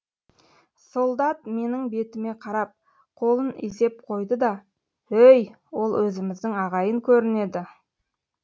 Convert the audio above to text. солдат менің бетіме қарап қолын изеп қойды да өй ол өзіміздің ағайын көрінеді